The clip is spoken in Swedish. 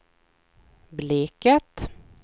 Bleket